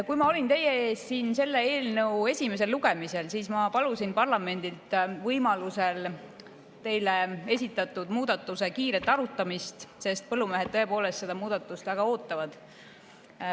Kui ma olin siin teie ees selle eelnõu esimesel lugemisel, siis ma palusin parlamendilt võimalusel teile esitatud muudatuse kiiret arutamist, sest põllumehed tõepoolest seda muudatust väga ootavad.